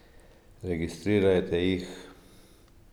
Registrirajte jih!